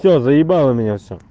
все заебало меня все